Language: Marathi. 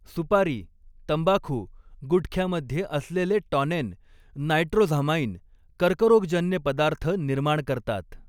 सुपारी, तंबाखू, गुटख्यामध्ये असलेले टॉनेन, नायट्रोझामाईन कर्करोगजन्य पदार्थ निर्माण करतात.